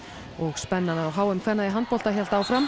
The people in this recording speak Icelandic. og spennan á h m kvenna í handbolta hélt áfram